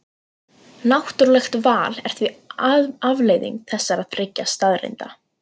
Náttúrlegt val er því afleiðing þessara þriggja staðreynda.